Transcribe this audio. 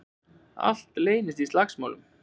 Allt leystist upp í slagsmál.